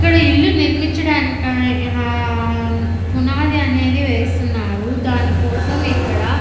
ఇక్కడ ఇల్లు నిర్మించడానికి ఆ పునాది అనేది వేస్తున్నారు దాని కోసం ఇక్కడ --